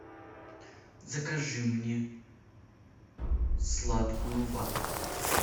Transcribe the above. закажи мне сладкую вату